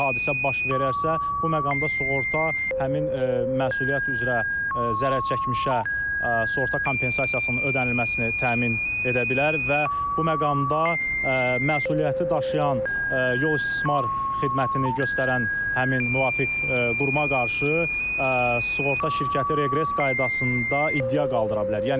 hadisə baş verərsə, bu məqamda sığorta həmin məsuliyyət üzrə zərərçəkmişə sığorta kompensasiyasının ödənilməsini təmin edə bilər və bu məqamda məsuliyyəti daşıyan yol istismar xidmətini göstərən həmin müvafiq quruma qarşı sığorta şirkəti reqres qaydasında iddia qaldıra bilər.